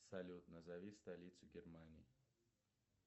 салют назови столицу германии